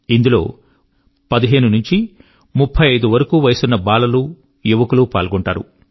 ఇందులో 15 నుంచి 35 వరకూ వయస్సున్న బాలలు యువకులు పాల్గొంటారు